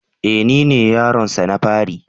E! Nine yaronsa na fari.